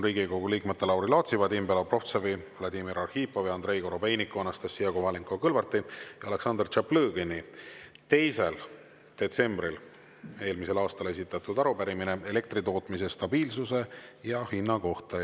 Riigikogu liikmete Lauri Laatsi, Vadim Belobrovtsevi, Vladimir Arhipovi, Andrei Korobeiniku, Anastassia Kovalenko-Kõlvarti ja Aleksandr Tšaplõgini 2. detsembril eelmisel aastal esitatud arupärimine elektritootmise stabiilsuse ja hinna kohta.